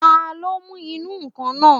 Taló mú ìnù-ǹkan náà?